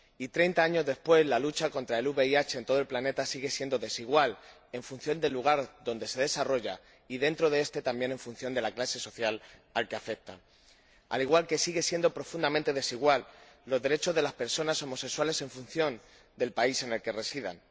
Treinta años después, la lucha contra el VIH en todo el planeta sigue siendo desigual en función del lugar donde se desarrolla y, dentro de este, también en función de la clase social a la que se pertenece, al igual que siguen siendo profundamente desiguales los derechos de las personas homosexuales en función del país en el que residen.